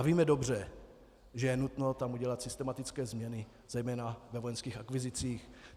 A víme dobře, že je tam nutno udělat systematické změny, zejména ve vojenských akvizicích.